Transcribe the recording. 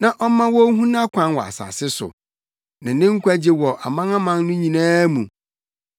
na ɔmma wonhu nʼakwan wɔ asase so, ne ne nkwagye wɔ amanaman no nyinaa mu.